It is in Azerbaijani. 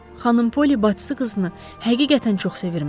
Xanım Polli bacısı qızını həqiqətən çox sevirmiş.